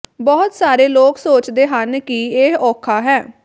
ਬਹੁਤ ਸਾਰੇ ਲੋਕ ਸੋਚਦੇ ਹਨ ਕਿ ਇਹ ਔਖਾ ਹੈ